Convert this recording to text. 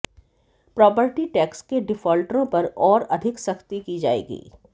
property tax के डिफाल्टरों पर और अधिक सख्ती की जाएगी